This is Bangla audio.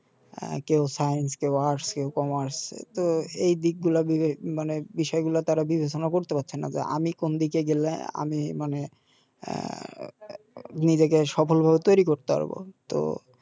আ কেও কেও কেও তো এদিকগুলা বিবে মানে বিষয়গুলা তারা বিবেচনা করতে পারছেনা যে আমি কোন দিকে গেলে আমি মানে আ নিজেকে সফল ভাবে তৈরি করতে পারব তো